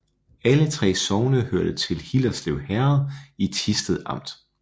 Alle 3 sogne hørte til Hillerslev Herred i Thisted Amt